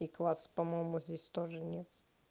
и класс по-моему здесь тоже нет